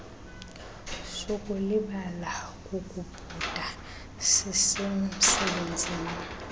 sukulibala kukubhuda sisemsebenzini